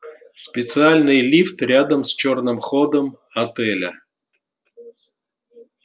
специальный лифт рядом с чёрным ходом отеля